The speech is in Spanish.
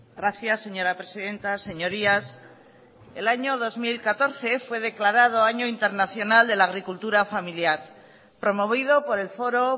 gracias señora presidenta señorías el año dos mil catorce fue declarado año internacional de la agricultura familiar promovido por el foro